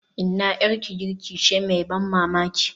Inna, 'yarki girki ce mai ban mamaki.